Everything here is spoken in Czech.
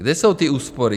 Kde jsou ty úspory?